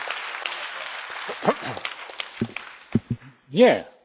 Nie, nie traktujemy Unii Europejskiej jako dojnej krowy.